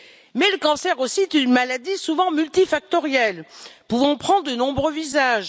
Mais le cancer est aussi une maladie souvent multifactorielle, pouvant prendre de nombreux visages.